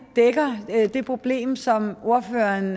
dækker det problem som ordføreren